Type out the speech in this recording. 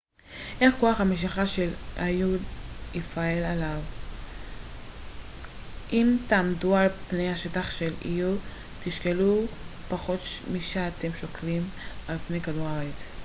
איך כוח המשיכה של איו יפעל עליי אם תעמדו על פני השטח של איו תשקלו פחות משאתם שוקלים על פני כדור הארץ